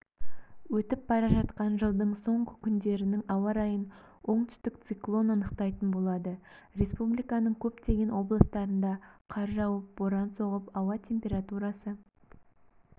өтіп бара жатқан жылдың соңғы күндерінің ауа райын оңтүстік циклон анықтайтын болады республиканың көптеген облыстарында қар жауып боран соғып ауа температурасы